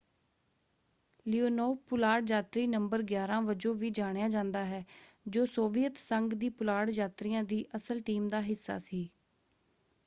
Leonov ਪੁਲਾੜ ਯਾਤਰੀ ਨੰ. 11” ਵਜੋਂ ਵੀ ਜਾਣਿਆ ਜਾਂਦਾ ਹੈ ਜੋ ਸੋਵੀਅਤ ਸੰਘ ਦੀ ਪੁਲਾੜ ਯਾਤਰੀਆਂ ਦੀ ਅਸਲ ਟੀਮ ਦਾ ਹਿੱਸਾ ਸੀ।